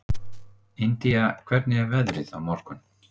Indía, hvernig er veðrið á morgun?